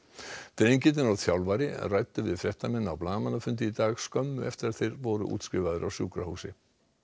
drengirnir og þjálfari ræddu við fréttamenn á blaðamannafundi í dag skömmu eftir að þeir voru útskrifaðir af sjúkrahúsi